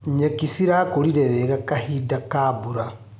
Nyeki cirakũrire wega kahinda ka mbura.